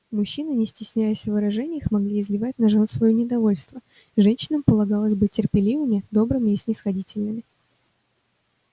мужчины не стесняясь в выражениях могли изливать на жён своё недовольство женщинам полагалось быть терпеливыми добрыми и снисходительными